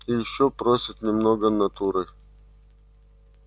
и ещё просят немного натурой